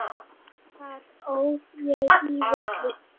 Þar óð ég í villu.